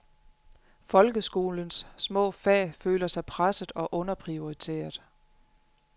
Folkeskolens små fag føler sig presset og underprioriteret.